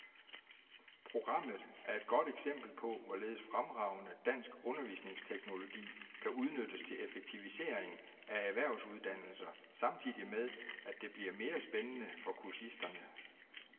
Programmet er et godt eksempel på, hvorledes fremragende dansk undervisningsteknologi kan udnyttes til effektivisering af erhvervsuddannelser samtidig med, at det bliver mere spændende for kursisterne.